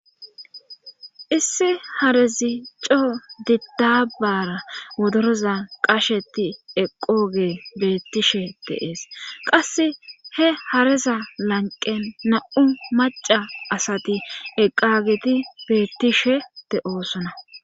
issi harezi coo didabara wodorozan qasheti eqqooge bettishe deees qasse he hareza lanqen na7u maca asati eqqageti beettishe de'oosona